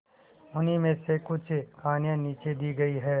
उन्हीं में से कुछ कहानियां नीचे दी गई है